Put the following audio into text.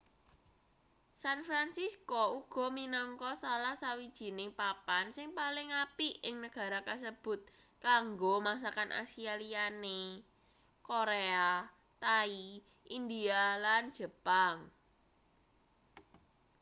san francisco uga minangka salah sawijining papan sing paling apik ing negara kasebut kanggo masakan asia liyane korea thai india lan jepang